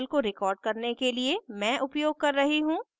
इस tutorial को record करने के लिए मैं उपयोग कर रही हूँ